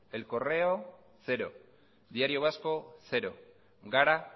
el correo cero diario vasco cero gara